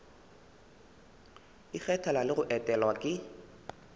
ikgethela le go etelwa ke